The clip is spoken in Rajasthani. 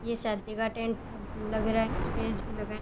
ये शादी का टेंट लग रहा है स्टेज भी लगा है।